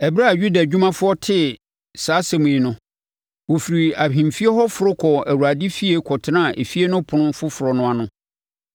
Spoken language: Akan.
Ɛberɛ a Yuda adwumafoɔ tee saa nsɛm yi no, wɔfirii ahemfie hɔ foro kɔɔ Awurade efie kɔtenaa efie no Ɛpono Foforɔ no ano.